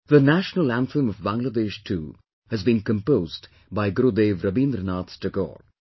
The National Anthem of Bangladesh too, has been composed by Gurudev Rabindranath Tagore